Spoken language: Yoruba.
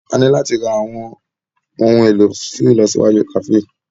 A ní láti ra àwọn ohun èlò fún ìlọsíwájú kàféè.